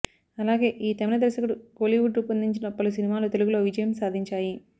అలాగే ఈ తమిళ దర్శకుడు కోలీవుడ్ రూపొందించిన పలు సినిమాలు తెలుగులో విజయం సాధించాయి